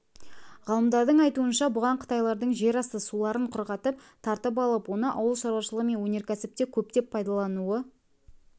ғалымдардың айтуынша бұған қытайлардың жерасты суларын құрғатып тартып алып оны ауыл шаруашылығы мен өнеркәсіпте көптеп пайдалануы